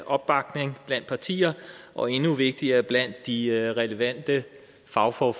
opbakning blandt partier og endnu vigtigere blandt de relevante fagfolk